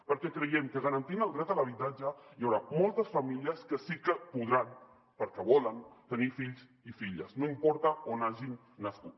perquè creiem que garantint el dret a l’habitatge hi haurà moltes famílies que sí que podran perquè volen tenir fills i filles no importa on hagin nascut